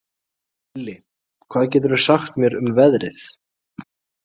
Elli, hvað geturðu sagt mér um veðrið?